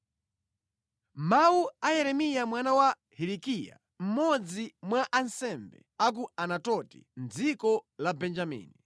Mawu a Yeremiya mwana wa Hilikiya, mmodzi mwa ansembe a ku Anatoti, mʼdziko la Benjamini.